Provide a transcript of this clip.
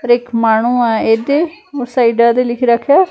ਹੋਰ ਇੱਕ ਮਾਣੋਓ ਆ ਇਹਦੇ ਹੋਰ ਸਾਈਡਾਂ ਤੇ ਲਿਖ ਰੱਖਿਆ--